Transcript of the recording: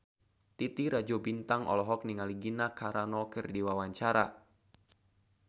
Titi Rajo Bintang olohok ningali Gina Carano keur diwawancara